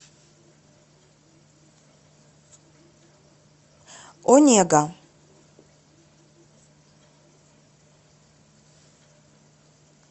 онега